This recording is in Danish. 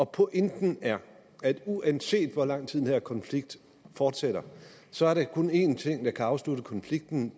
pointen er at uanset hvor lang tid den her konflikt fortsætter så er der kun en ting der kan afslutte konflikten